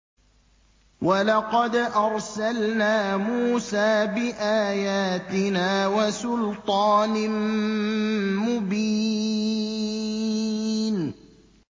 وَلَقَدْ أَرْسَلْنَا مُوسَىٰ بِآيَاتِنَا وَسُلْطَانٍ مُّبِينٍ